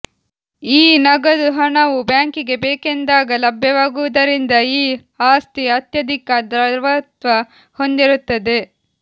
ಈ ನಗದು ಹಣವು ಬ್ಯಾಂಕಿಗೆ ಬೇಕೆಂದಾಗ ಲಭ್ಯವಾಗುದರಿಂದ ಈ ಆಸ್ತಿ ಅತ್ಯಧಿಕ ದ್ರವತ್ವ ಹೊಂದಿರುತ್ತದೆ